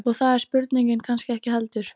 Og það er spurningin kannski ekki heldur.